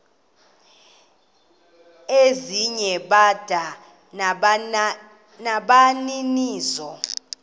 ezinye bada nabaninizo